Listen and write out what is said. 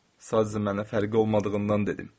Sadəcə mənə fərqi olmadığından dedim.